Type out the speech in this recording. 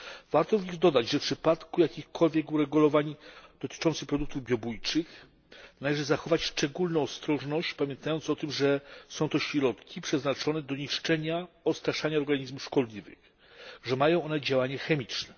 Warto tu dodać, że w przypadku jakichkolwiek uregulowań dotyczących produktów biobójczych należy zachować szczególną ostrożność, pamiętając o tym, że są to środki przeznaczone do niszczenia i odstraszania organizmów szkodliwych oraz że mają one działanie chemiczne.